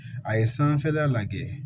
A ye sanfɛla lajɛ